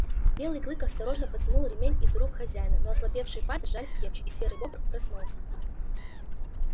белый клык осторожно потянул ремень из рук хозяина но ослабевшие пальцы сжались крепче и серый бобр проснулся